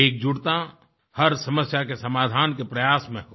एकजुटता हर समस्या के समाधान के प्रयास में हो